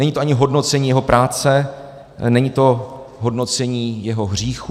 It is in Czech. Není to ani hodnocení jeho práce, není to hodnocení jeho hříchů.